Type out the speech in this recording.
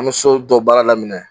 An me so dɔ baara daminɛ